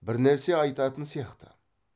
бірнәрсе айтатын сияқты